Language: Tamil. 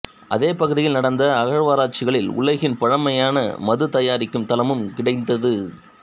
அதே பகுதியில் நடந்த அகழ்வாராய்ச்சிகளில் உலகின் பழமையான மது தயாரிக்கும் தளமும் கிடைத்தது